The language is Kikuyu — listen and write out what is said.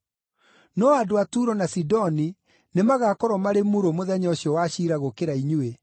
No andũ a Turo na Sidoni nĩmagakorwo marĩ murũ mũthenya ũcio wa ciira gũkĩra inyuĩ.